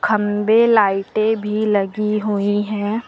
खंभे लाइटें भी लगी हुई हैं।